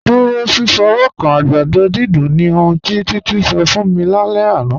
Dúró fífọ́wọ́kàn àgbàdọ̀ dídùn ni ọ̀hun tí Títí ṣọ̀ fún mí ní àlẹ̀ àná.